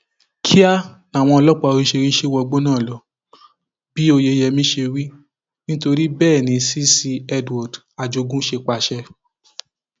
kíá làwọn ọlọpàá oríṣìíríṣìí wọgbó náà lọ bí oyeyẹmí ṣe wí nítorí bẹẹ ni cc edward ajogun ṣe pàṣẹ